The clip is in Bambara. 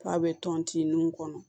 K'a bɛ tɔntin kɔnɔ